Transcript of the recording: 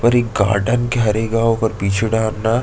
और एक गार्डन के हरे गांव ओकर पीछू डहर मा --